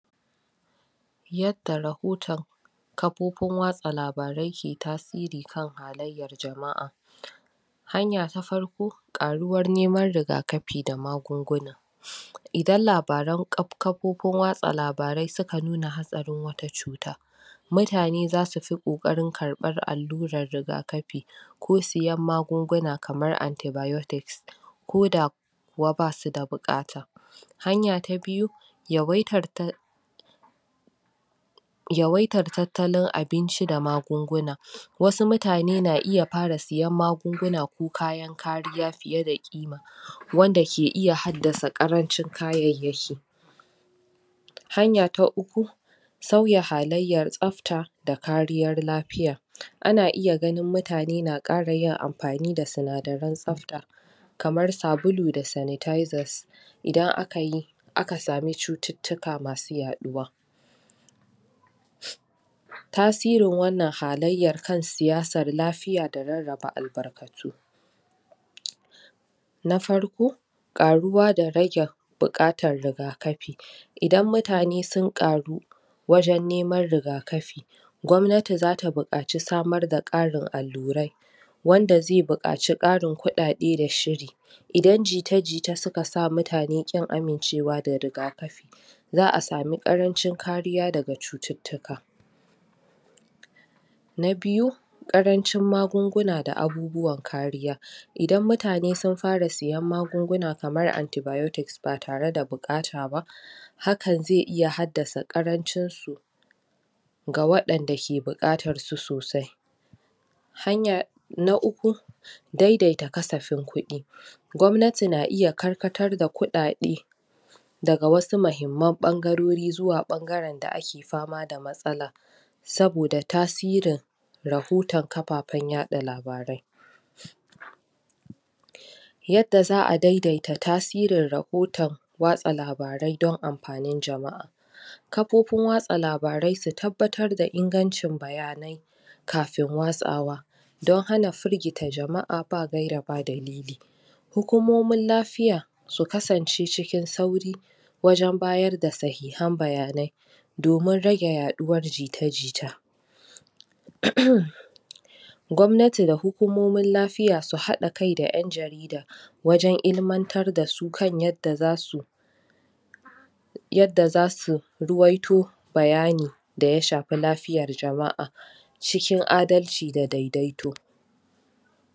yadda rahoton kafofin wasa labarai ke tasiri kan halayyan jama'a hanya ta farko ƙaruwan neman rigaƙafi da magunguna idan labaran kafofin wasa labarai suka nuna hatsarin wata cuta mutane zasu fi kokarin ƙarban alluran rigaƙafi ko siyan magunguna kamar anti biotics koda kuwa basu da bukata hanya ta biyu yawaitar yawaitar tattalin abinci da magunguna wasu mutane na iya fara siyan magunguna ko kayan kariya fiye da ƙima wanda yake iya hadɗasa ƙarancin kayayyaki hanya ta uku sauya halayyar tsafta ka kariyar lafiya ana iya ganin mutane na kara yin amfani da tsinadiran tsafta kamar sabulu da sanitizers idan akayi aka samu cututtuka masu yaɗuwa tsasirin wannan halayyar kan siyasar lafiya da rarraba albarkatu na farko karuwa da rage bukatar rigaƙafi idan mutane sun karu wajen neman rigaƙafi gwamnati zata buƙace samar da karin allurai wanda zai bukace karin kuɗaɗe da shiri idan jita-jita suka sa mutane ƙin amincewa da rigaƙafi za'a samu ƙarancin ƙariya daga cututtuka na biyu ƙarncin magunguna da abubuwan kariya idan mutane sun fara siyan magungunan kamar anti biotics ba tare da bukata ba haka zai iya hadɗasa ƙarancin su ga waɗanda suke bukatar su sosai hanya na uku daidaita ƙasafin ƙudi gwamanti na iya ƙarƙartar da kuɗaɗe daga wasu mahimman ɓangarori zuwa ɓangaren da ake fama da matsala saboda tasirin rahutan kafafen yaɗa labarai yadda za'a daidaita tasirin rahoton was labarai dan amfanin jama'a kafofin wasa labarai su tabbatar da ingancin bayanai kafin wasa wa dan hana firgita jama'a ba gayri ba dalili hukumomin lafiya su kasance cikin sauri wajan bada sahihan bayanai domin rage yaɗuwar jita jita um gwamnati da hukumomin lafiya su hada kai da en jarida wajen ilmantar dasu kan yanda zasu yadda zasu ruwaito bayani da ya shafi lafiyar jama'a cikin adalci da daidaito.